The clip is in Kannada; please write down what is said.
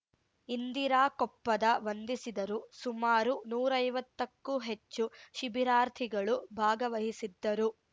ಇಂದಿರಾ ಕೊಪ್ಪದ ವಂದಿಸಿದರು ಸುಮಾರು ನೂರೈವತ್ತಕ್ಕೂ ಹೆಚ್ಚು ಶಿಬಿರಾರ್ಥಿಗಳು ಭಾಗವಹಿಸಿದ್ದರು